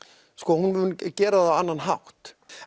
hún mun gera það á annan hátt